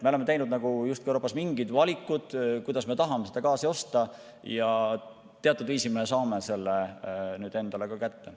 Me oleme teinud justkui Euroopas mingid valikud, kuidas me tahame gaasi osta, ja teatud viisil me saame seda nüüd endale ka kätte.